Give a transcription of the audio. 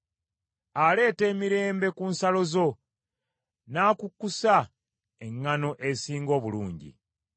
Aleeta emirembe ku nsalo zo; n’akukkusa eŋŋaano esinga obulungi.